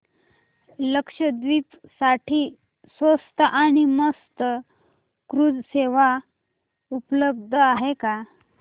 लक्षद्वीप साठी स्वस्त आणि मस्त क्रुझ सेवा उपलब्ध आहे का